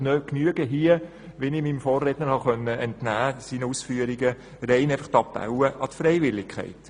Oder genügen diese einfachen Appelle an die Freiwilligkeit, wie ich den Ausführungen meines Vorredners habe entnehmen können?